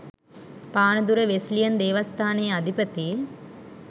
Panadura Wesleyan දේවස්ථානයේ අධිපති